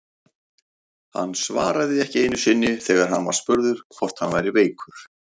Hann svaraði ekki einu sinni þegar hann var spurður hvort hann væri veikur!